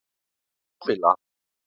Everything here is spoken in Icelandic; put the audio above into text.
Kamilla